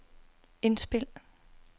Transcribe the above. indspil